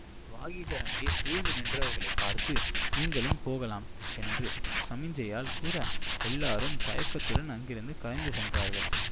வாகீசர் அங்கே சூழ்ந்து நின்றவர்களைப் பார்த்து நீங்களும் போகலாம் என்று சமிக்ஞையால் கூற எல்லாரும் தயக்கத்துடன் அங்கிருந்து கலைந்து சென்றார்கள்